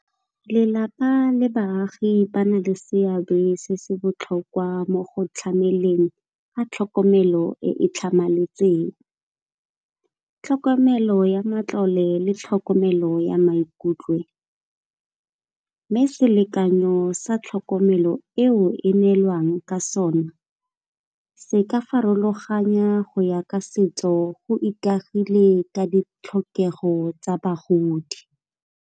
Lelapa le baagi ba na le seabe se se botlhokwa mo go tlhameleng ga tlhokomelo e e tlhamaletseng. Tlhokomelo ya matlole le tlhokomelo ya maikutlo, mme selekanyo sa tlhokomelo eo e neelwang ka sona se ka farologanya go ya ka setso go ikagile ka ditlhokego tsa bagodi.